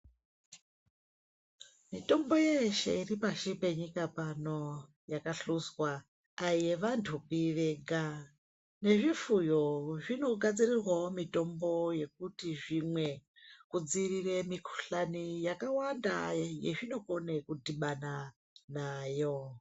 Mitombo yeshe iripasi penyika pano yakahluzwa aiyevanhupi vega nezvifuyo zvinogadzirirwawo mitombo yekuti zvimwe kudzivirire mikhuhlani yakawanda yazvinokona kudhibana nayo.